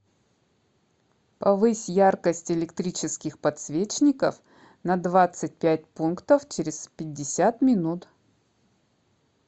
повысь яркость электрических подсвечников на двадцать пять пунктов через пятьдесят минут